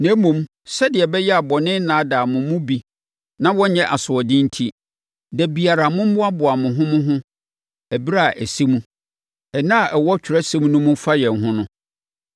Na mmom, sɛdeɛ ɛbɛyɛ a bɔne rennaadaa mo mu bi na wɔnyɛ asoɔden enti, da biara mommoaboa mo ho mo ho ɛberɛ a asɛm “Ɛnnɛ” a ɛwɔ Atwerɛsɛm mu no fa yɛn ho no.